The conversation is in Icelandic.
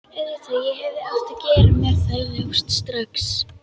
Auðvitað, ég hefði átt að gera mér það ljóst strax.